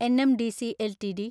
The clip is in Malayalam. NMDC LTD